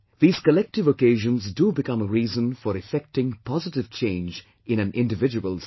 These collective occasions do become a reason for effecting positive change in an individual's life